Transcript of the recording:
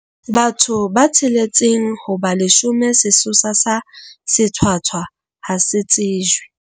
Bathong ba tsheletseng ho ba leshome sesosa sa sethwathwa ha se tsejwe.